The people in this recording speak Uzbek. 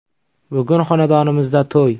– Bugun xonadonimizda to‘y.